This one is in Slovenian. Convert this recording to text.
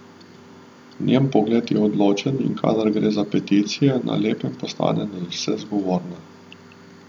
Njen pogled je odločen, in kadar gre za peticije, na lepem postane nadvse zgovorna.